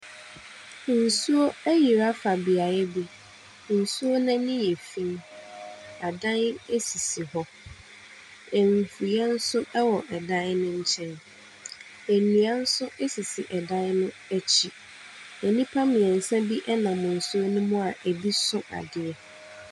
Nsuo ayiri afa beaeɛ bi. Nsuo no ani yɛ fi. Adan sisi hɔ. Mfuiɛ nso wɔ dan no nkyɛn. Nnua nso sisi dan no akyi. Nnipa mmeɛnsa bi nam nsuo no mu a ɛbi so adeɛ.